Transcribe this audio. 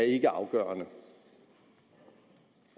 ikke er afgørende